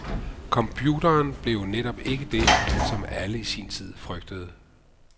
Computeren blev jo netop ikke det som alle i sin tid frygtede.